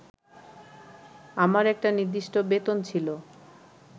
আমার একটা নির্দিষ্ট বেতন ছিল